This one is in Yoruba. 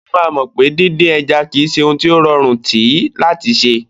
Ó máa mọ̀ pé díndín ẹja kì í ṣe ohun tí ó rọrùn tí láti ṣẹ.